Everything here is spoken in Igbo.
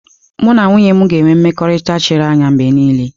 Mụ na nwunye m ga-enwe mmekọrịta chiri anya mgbe niile.